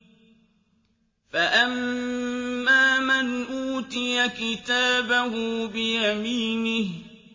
فَأَمَّا مَنْ أُوتِيَ كِتَابَهُ بِيَمِينِهِ